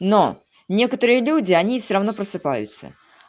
но некоторые люди они всё равно просыпаются